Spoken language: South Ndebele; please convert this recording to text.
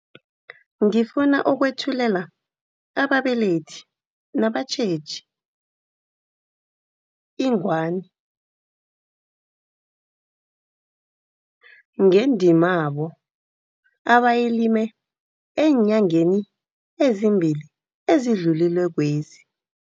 Ngifuna ukwethulela ababelethi nabatjheji ingwani, ngendimabo abayilime eenyangeni ezimbili ezidlulilekwezi.